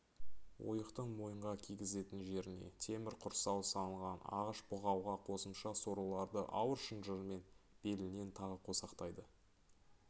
ойықтың мойынға кигізетін жеріне темір құрсау салынған ағаш бұғауға қосымша сорлыларды ауыр шынжырмен белінен тағы қосақтайды